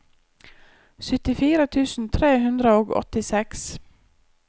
syttifire tusen tre hundre og åttiseks